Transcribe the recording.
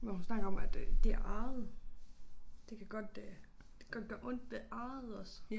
Hvor hun snakker om at øh det arret det kan godt øh det kan gøre ondt ved arret også